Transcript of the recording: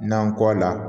Nan kɔ la